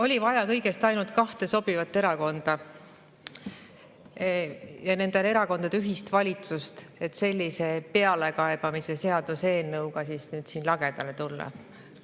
Oli vaja ainult kahte sobivat erakonda ja nende erakondade ühist valitsust, et sellise pealekaebamise seaduse eelnõuga lagedale tulla.